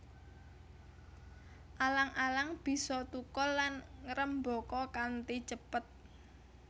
Alang alang bisa thukul lan ngrembaka kanthi cepet